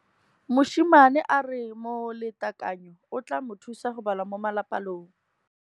Mosimane a re molatekanyô o tla mo thusa go bala mo molapalong.